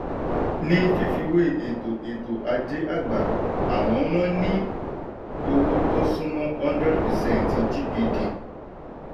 ní fífi wé ètò ètò ajé àgbà àwọn wọ́n ní owó tó sunmọ́ 100 percent gdp.